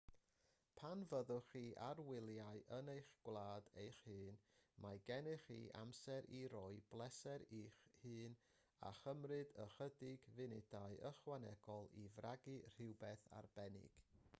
pan fyddwch chi ar wyliau yn eich gwlad eich hun mae gennych chi'r amser i roi pleser i'ch hun a chymryd ychydig funudau ychwanegol i fragu rhywbeth arbennig